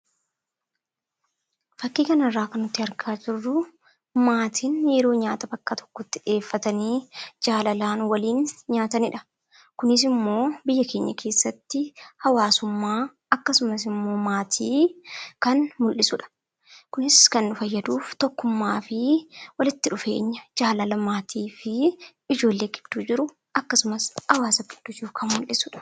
Fakkii kana irraa kan nuti argaa jirruu, maatiin yeroo nyaata bakka tokkotti dhiheeffatanii jaalalaan waliin nyaatanidha. Kunis immoo biyya keenya keessatti hawaasummaa akkasumas immoo maatii kan mul'isudha. Kunis kan nu fayyaduuf tokkummaa fi walitti dhufeenya jaalala maatii fi ijoollee gidduu jiru akkasumas hawaasa gidduu jiru kan mul'isudha.